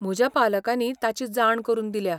म्हज्या पालकांनी ताची जाण करून दिल्या.